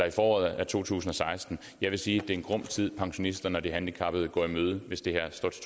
i foråret to tusind og seksten jeg vil sige det er en grum tid pensionisterne og de handicappede går i møde hvis det